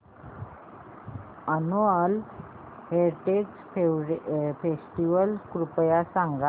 annual heritage festival कृपया सांगा